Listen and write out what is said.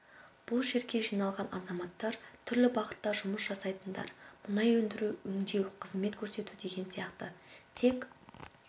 бұл жерге жиналған азаматтар түрлі бағытта жұмыс жасайтындар мұнай өндіру өңдеу қызмет көрсету деген сияқты тек